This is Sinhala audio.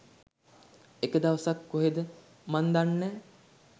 එක දවසක් කොහේද මන්දැන්නේ නෑ